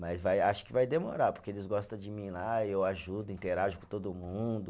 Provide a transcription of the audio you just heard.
Mas vai, acho que vai demorar, porque eles gosta de mim lá, eu ajudo, interajo com todo mundo.